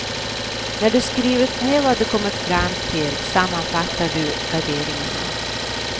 När du skrivit ned vad du kommit fram till sammanfattar du garderingarna.